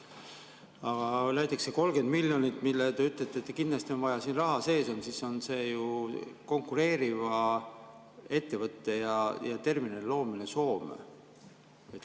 Aga näiteks see 30 miljonit, mille kohta te ütlete, et kindlasti on vaja, et see raha siin sees oleks, ju konkureeriva ettevõtte ja terminali loomist Soome.